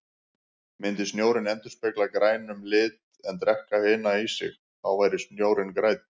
Myndi snjórinn endurspegla grænum lit en drekka hina í sig, þá væri snjórinn grænn.